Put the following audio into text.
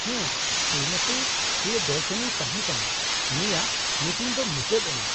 -ᱦᱮᱸ, ᱥᱨᱤᱢᱚᱛᱤ ᱯᱨᱤᱭᱚᱫᱚᱨᱥᱤᱱᱤᱭ ᱛᱟᱦᱮᱸ ᱠᱟᱱᱟ, ᱩᱱᱤᱭᱟᱜ ᱢᱤᱴᱤᱝ ᱫᱚ ᱢᱩᱪᱟᱹᱫ ᱮᱱᱟ ᱾